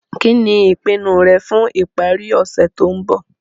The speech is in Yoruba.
Kí ní ìpinu rẹ fun ìparí ọ̀sẹ̀ to n bo